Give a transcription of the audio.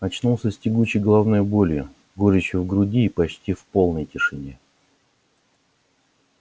очнулся с тягучей головной болью горечью в груди и почти в полной тишине